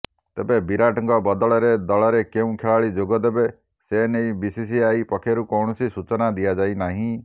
ତେବେ ବିରାଟଙ୍କ ବଦଳରେ ଦଳରେ କେଉଁ ଖେଳାଳୀ ଯୋଗଦେବେ ସେନେଇ ବିସିସିଆଇ ପକ୍ଷରୁ କୌଣସି ସୂଚନା ଦିଆଯାଇନାହିଁ